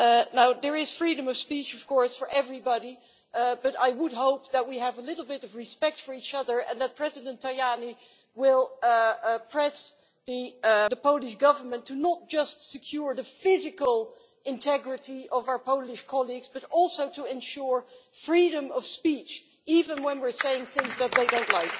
Now there is freedom of speech for everybody, but I would hope that we have a little bit of respect for each other and that President Tajani will press the Polish Government to not just secure the physical integrity of our Polish colleagues but also to ensure freedom of speech, even when we are saying things that they don't like.